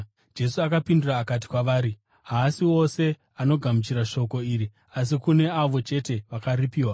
Jesu akapindura akati kwavari, “Haasi wose anogamuchira shoko iri, asi kune avo chete vakaripiwa.